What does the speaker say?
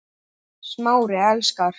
Smári elskar